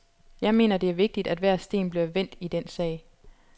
Jeg mener, det er vigtigt at hver sten bliver vendt i den sag.